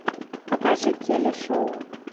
покажи телешоу